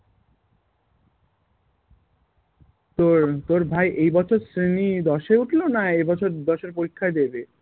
তোর তোর ভাই এইবছর শ্রেণী দশে উঠলো না এই বছর দশের পরীক্ষাই দেবে?